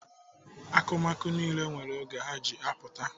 Akụmakụ niile nwere oge ha ji apụta.